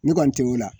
Ne kɔni tɛ o la